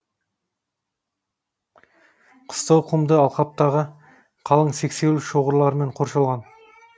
қыстау құмды алқаптағы қалың сексеуіл шоғырларымен қоршалған